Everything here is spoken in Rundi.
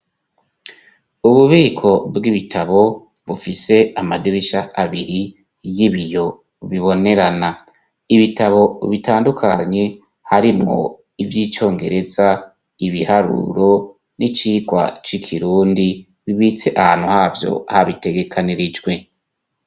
Ububiko bw'ibitabo, bufise amadirisha abiri y'ibiyo bibonerana, ibitabo bitandukanye harimwo ivy'icyongereza, ibiharuro, n'icigwa c'ikirundi, bibitse ahantu havyo habitegekanirijwe.